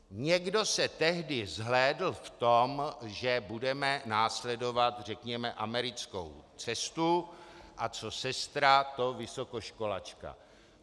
Někdo se tehdy zhlédl v tom, že budeme následovat, řekněme, americkou cestu, a co sestra, to vysokoškolačka.